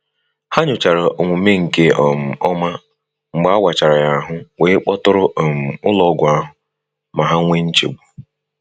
Ha nyochara omume nke um ọma mgbe a wachara ya ahụ wee kpọtụrụ um ụlọọgwụ ahụ ma ha wee nchegbu.